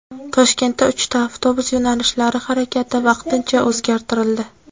Toshkentda uchta avtobus yo‘nalishlari harakati vaqtincha o‘zgartirildi.